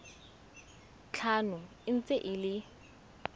tlhano e ntse e le